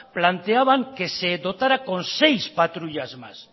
planteaba que se dotará con seis patrullas más